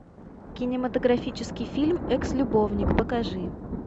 кинематографический фильм экс любовник покажи